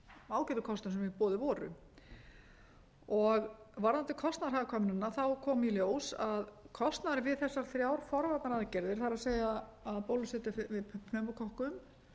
ágætu kostum sem í boði voru varðandi kostnaðarhagkvæmnina kom í ljós að kostnaðurinn við þessar þrjár forvarnaaðgerðir það er að bólusetja gegn pneumókokkum